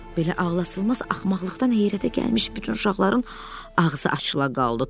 Belə ağlasılmaz axmaqlıqdan heyrətə gəlmiş bütün uşaqların ağzı açıla qaldı.